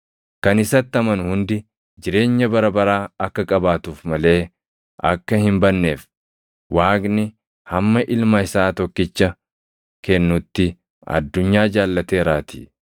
Kan isatti amanu hundi jireenya bara baraa akka qabaatuuf malee akka hin badneef, Waaqni hamma Ilma isaa tokkicha kennutti addunyaa jaallateeraatii.